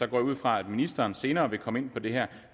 jeg ud fra at ministeren senere vil komme ind på det her